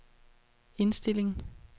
indstilling